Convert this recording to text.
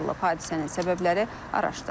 Hadisənin səbəbləri araşdırılır.